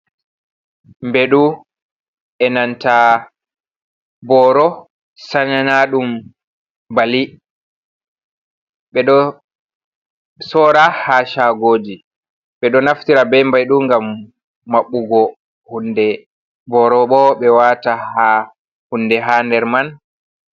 Mɓeɗu enanta boro sanarnaɗum bali, ɓe ɗo sora ha shagoji, ɓe ɗo naftira be Mɓeɗu ngam mabbugo hunde, boro bo be wata ha hunde ha nder man.